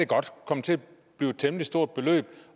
komme til at blive et temmelig stort beløb